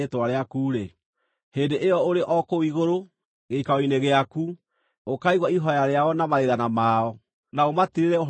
hĩndĩ ĩyo ũrĩ o kũu igũrũ, gĩikaro-inĩ gĩaku, ũkaigua ihooya rĩao na mathaithana mao, na ũmatirĩrĩre ũhoro-inĩ ũcio wao.